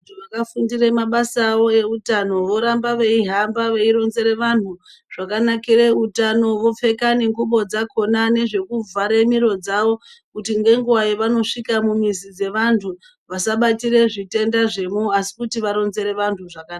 Vakafundire mabasa awo eutano voramba veihamba veironzere vantu zvakanakire utano. Vopfeka nengubo dzakhona nezvekuvhare miro dzavo kuti ngenguva yevanosvika mumizi dzevanhu vasabatire zvitenda zvemo asi kuti varonzere vantu zvakanaka.